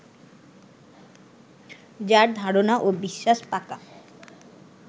যাঁর ধারণা ও বিশ্বাস পাকা